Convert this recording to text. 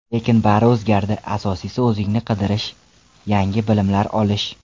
Lekin bari o‘zgardi, asosiysi o‘zingni qidirish, yangi bilimlar olish.